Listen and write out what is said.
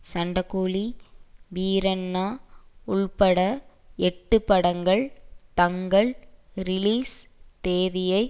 சண்டக்கோழி வீரண்ணா உள்பட எட்டுப்படங்கள் தங்கள் ரிலீஸ் தேதியை